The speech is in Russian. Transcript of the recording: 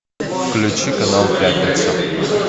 включи канал пятница